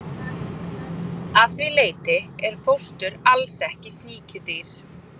Að því leyti er fóstur alls ekki sníkjudýr.